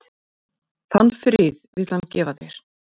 Þann frið vill hann gefa þér.